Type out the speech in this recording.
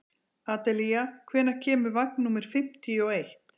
Adelía, hvenær kemur vagn númer fimmtíu og eitt?